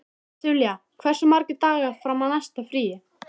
Silvía, hversu margir dagar fram að næsta fríi?